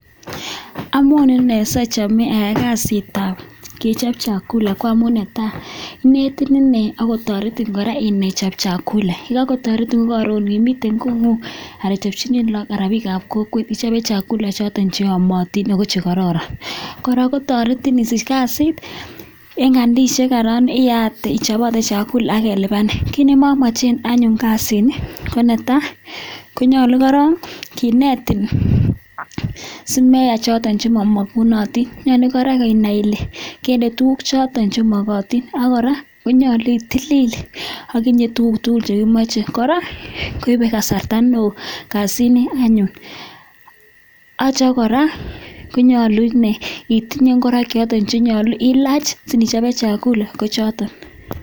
Amu ane si achame ayai kasit ap kechop chakula amu ne tai, inetin ine ako taretin kora inai ichop chakula. Yan kataretin ko karon imite kong'ung' ara ichopchini lagok anan ko piikap kokweet ichope chakula chotok che yamatin ako che kararan . Kora kotaretin isich kasit eng' kandisiek anan iyat ichop agot chakula ak kelipanin. Kiit ne mamache anyun kasini, ko korok ne tai konyalu korok kinetin si meyai chotok che mamakunatin. Nyalu kora inai ile kende tuguuk chotok che makatin ak kora konyalu itilil akinye tuguuk tugul che imache. Kora koipe kasarta ne oo kasini anyun. Atia kora ko nyalu itinye ngoroik chotok che nyalu ilach si nyi chope chakula ko choton.